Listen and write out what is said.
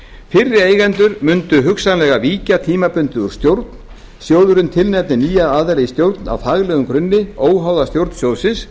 fyrri eigendur mundu hugsanlega víkja tímabundið úr stjórn sjóðurinn tilnefndi nýja aðila í stjórn